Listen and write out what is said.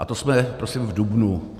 A to jsme prosím v dubnu.